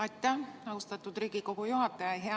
Aitäh, austatud Riigikogu juhataja!